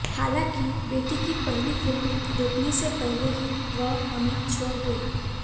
हालांकि बेटी की पहली फिल्म देखने से पहले ही वह हमें छोड़ गईं